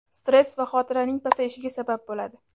stress va xotiraning pasayishiga sabab bo‘ladi.